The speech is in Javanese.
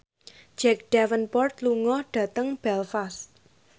Jack Davenport lunga dhateng Belfast